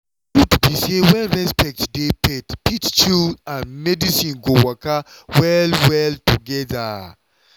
truth be say when respect dey faith fit chill and medicine go waka well well together.